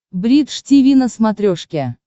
бридж тиви на смотрешке